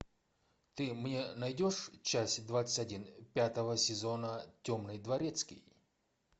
ты мне найдешь часть двадцать один пятого сезона темный дворецкий